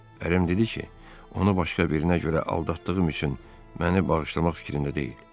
Ərim dedi ki, onu başqa birinə görə aldatdığım üçün məni bağışlamaq fikrində deyil.